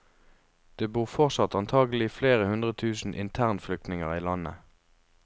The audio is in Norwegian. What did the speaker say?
Det bor fortsatt antagelig flere hundre tusen internflyktninger i landet.